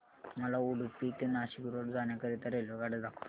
मला उडुपी ते नाशिक रोड जाण्या करीता रेल्वेगाड्या दाखवा